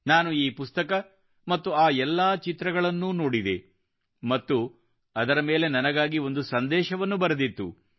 ನಾನು ಈ ಪುಸ್ತಕ ಮತ್ತು ಆ ಎಲ್ಲಾ ಚಿತ್ರಗಳನ್ನು ನೋಡಿದೆ ಮತ್ತು ಅದರ ಮೇಲೆ ನನಗಾಗಿ ಒಂದು ಸಂದೇಶವನ್ನು ಬರೆದಿತ್ತು